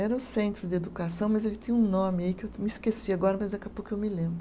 Era o Centro de Educação, mas ele tinha um nome aí que eu me esqueci agora, mas daqui a pouco eu me lembro.